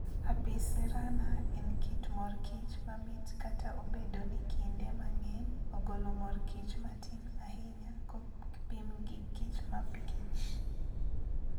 Apis cerana en kit mor kich mamit kata obedo ni kinde mang'eny ogolo mor kich matin ahinya kopim gi kichmapikich.